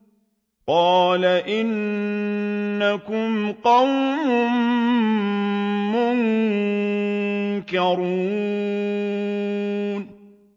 قَالَ إِنَّكُمْ قَوْمٌ مُّنكَرُونَ